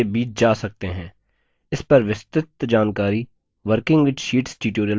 cursor का उपयोग करके भी शीट्स के बीच जा सकते हैं